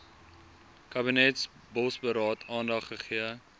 kabinetsbosberaad aandag gegee